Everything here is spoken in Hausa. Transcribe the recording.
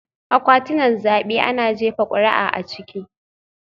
Akwatunan zabe ana jefa kuri'a a ciki